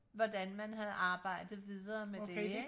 hvordan man havde arbejdet videre med det ikke